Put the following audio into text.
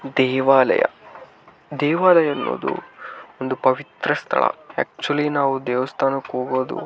ದೇವಾಲಯ ದೇವಾಲಯ ಅನ್ನೋದು ಒಂದು ಪವಿತ್ರ ಸ್ಥಳ ಆಕ್ಚುಲಿ ನಾವು ದೇವಸ್ಥಾನಕ್ಕೆ ಹೋಗೋದು --